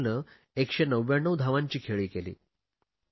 राहूलने 199 धावांची खेळी केली